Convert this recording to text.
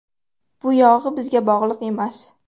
Bu yog‘i bizga bog‘liq emas.